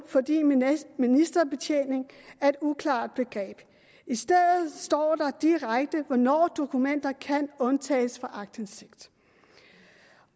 fordi ministerbetjening er et uklart begreb i stedet står der direkte hvornår dokumenter kan undtages fra aktindsigt